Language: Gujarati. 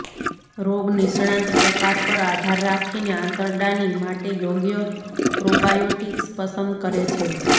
રોગ નિષ્ણાત પ્રકાર પર આધાર રાખીને આંતરડાની માટે યોગ્ય પ્રોબાયોટીક્સ પસંદ કરે છે